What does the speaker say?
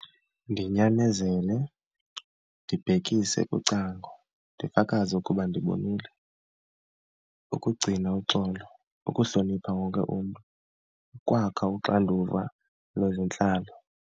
Ndimnyanzele, ndibhekise kucango, ndifakaze ukuba ndibonile. Ukugcina uxolo, ukuhlonipha wonke umntu, ukwakha uxanduva lwezentlalo.